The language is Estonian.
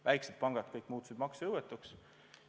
Väiksed pangad muutusid maksejõuetuks.